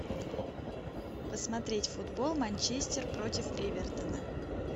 посмотреть футбол манчестер против эвертона